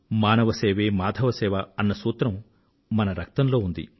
మానవ సేవే మాధవ సేవ అన్న సూత్రం మన రక్తంలో ఉంది